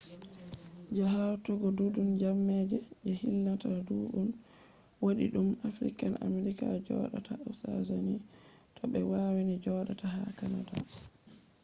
je hautugo ɗuɗugo jamaaje je hilnata ɗuɗɗum: wodi ɗuɗɗum african american joɗa ta ha us do ɓe wani joɗa ta ha canada